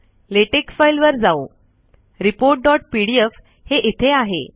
LaTeX file वर जाऊ reportपीडीएफ हे इथे आहे